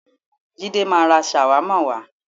Jídé máa ra ṣàwámà wá.